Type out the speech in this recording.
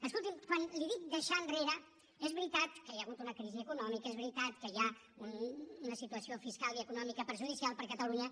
escolti’m quan li dic deixar enrere és veritat que hi ha hagut una crisi econòmica és veritat que hi ha una situació fiscal i econòmica perjudicial per a catalunya